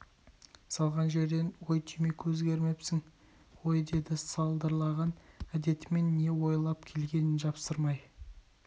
салған жерден ой түк өзгермепсің ғой деді салдырлаған әдетімен не ойлап келгенін жасырмай